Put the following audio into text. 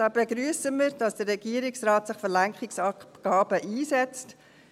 Da begrüssen wir, dass sich der Regierungsrat für Lenkungsabgaben einsetzt.